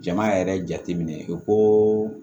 Jama yɛrɛ jateminɛ ko